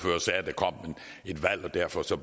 jeg forstår